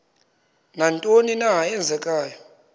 nantoni na eenzekayo